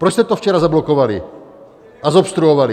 Proč jste to včera zablokovali a zobstruovali?